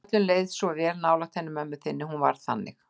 Öllum leið svo vel nálægt henni mömmu þinni, hún var þannig.